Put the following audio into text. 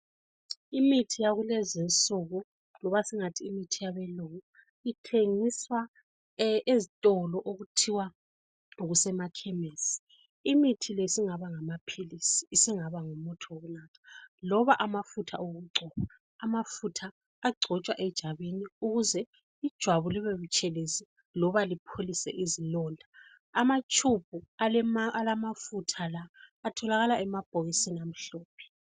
Imithi yakulezi nsuku loba singathi imithi yabelungu ithengiswa ezitolo okuthiwa kusemakhemisi. Imithi le isingaba ngamaphilisi isingaba ngumuthi wokunatha loba amafutha okugcoba. Amafutha agcotshwa ejwabini ukuze ijwabu libe butshelezi loba lipholise izilonda. Amatshubhu alamafutha la atholakala emabhokisini amhlophe.